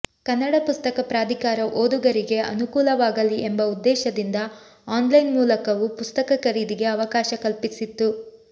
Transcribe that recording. ಕನ್ನಡ ಪುಸ್ತಕ ಪ್ರಾಧಿಕಾರ ಓದುಗರಿಗೆ ಅನುಕೂಲವಾಗಲಿ ಎಂಬ ಉದ್ದೇಶದಿಂದ ಆನ್ಲೈನ್ ಮೂಲಕವೂ ಪುಸ್ತಕ ಖರೀದಿಗೆ ಅವಕಾಶ ಕಲ್ಪಿಸಿತ್ತು